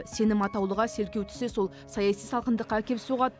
сенім атаулыға селкеу түссе сол саяси салқындыққа әкеп соғады